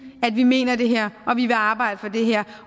at vi mener det her og vi vil arbejde for det her